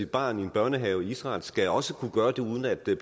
barn i børnehave i israel skal også kunne gøre det uden at blive